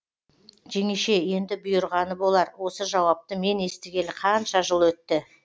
жеңеше енді бұйырғаны болар осы жауапты мен естігелі қанша жыл өтті